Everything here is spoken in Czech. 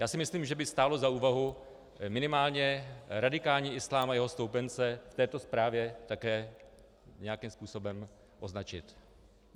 Já si myslím, že by stálo za úvahu minimálně radikální islám a jeho stoupence v této zprávě také nějakým způsobem označit.